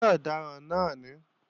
Ṣé ọ̀daràn náà ní?